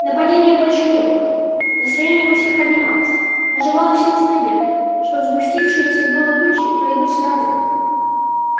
нападения больше не было настроение у всех поднималось оживала в сердце надежда что сгустившиеся было тучи пройдут стороной